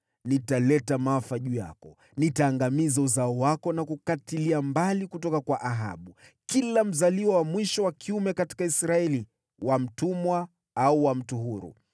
‘Nitaleta maafa juu yako. Nitaangamiza uzao wako na kukatilia mbali kutoka kwa Ahabu kila mzaliwa wa mwisho wa kiume katika Israeli, wa mtumwa au wa mtu huru.